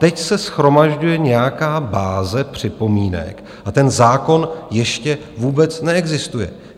Teď se shromažďuje nějaká báze připomínek a ten zákon ještě vůbec neexistuje.